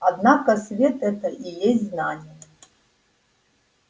однако свет этот и есть знание